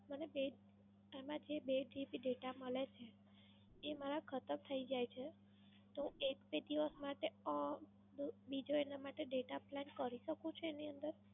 મને બે, એમાં જે બે GB data મળે છે, એ મારા ખાતાં થઈ જાય છે. તો એક બે દિવસ માટે અમ બીજો એના માટે Data plan કરી શકું છું એની અંદર?